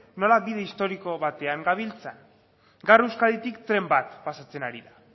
nola bide historiko batean gabiltza gaur euskaditik tren bat pasatzen ari da